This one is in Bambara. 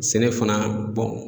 Sɛnɛ fana